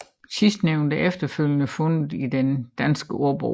Sidstnævnte har efterfølgende fundet vej til Den Danske Ordbog